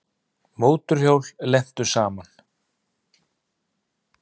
Mótorhjól lentu saman